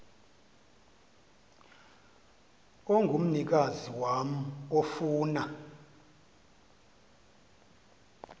ongumnikazi wam ofuna